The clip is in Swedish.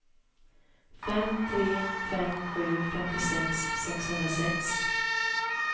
fem tre fem sju femtiosex sexhundrasex